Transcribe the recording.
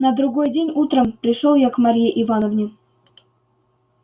на другой день утром пришёл я к марье ивановне